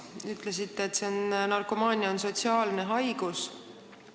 Te ütlesite, et narkomaania on sotsiaalne haigus.